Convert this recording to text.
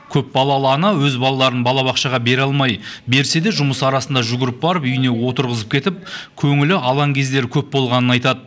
көпбалалы ана өз балаларын балабақшаға бере алмай берсе де жұмыс арасында жүгіріп барып үйіне отырғызып кетіп көңілі алаң кездері көп болғанын айтады